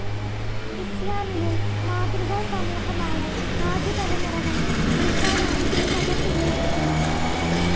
ഇസ്‌ലാമിലെ മാതൃകാ സമൂഹമായ ആദ്യ തലമുറകളെ കുറിക്കാനാണ് ഈ പദം ഉപയോഗിക്കുന്നത്.